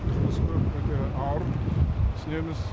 жұмыс көп өте ауыр түсінеміз